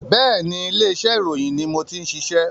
Bẹ́ẹ̀ni, ilé iṣẹ́ ìròyìn ni mo ti ń ṣiṣẹ́